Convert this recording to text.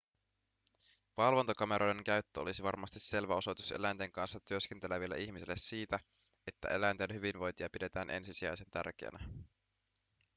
valvontakameroiden käyttö olisi varmasti selvä osoitus eläinten kanssa työskenteleville ihmisille siitä että eläinten hyvinvointia pidetään ensisijaisen tärkeänä